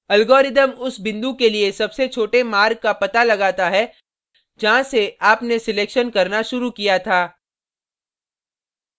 algorithm उस बिंदु के लिए सबसे छोटे मार्ग का पता लगाता है जहाँ से आपने selection करना शुरू किया था